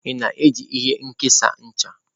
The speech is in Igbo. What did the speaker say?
Ị na-eji ihe nkesa ncha?